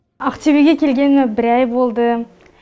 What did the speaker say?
ақтөбеге келгеніме бір ай болды